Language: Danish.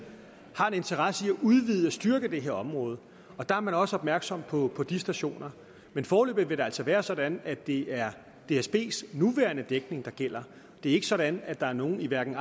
har en interesse i at udvide og styrke det her område og der er man også opmærksom på de stationer men foreløbig vil det altså være sådan at det er dsbs nuværende dækning der gælder det er ikke sådan at der er nogen i arden